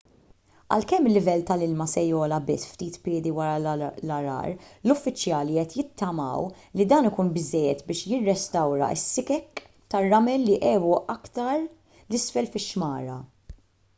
għalkemm il-livell tal-ilma se jogħla biss ftit piedi wara l-għargħar l-uffiċjali qed jittamaw li dan ikun biżżejjed biex jirrestawra s-sikek tar-ramel li għebu aktar l isfel fix-xmara